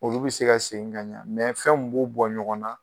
Olu bɛ se ka segin ka ɲɛ fɛn min b'u bɔ ɲɔgɔn na